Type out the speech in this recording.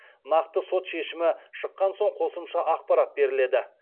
нақты сот шешімі шыққан соң қосымша ақпарат беріледі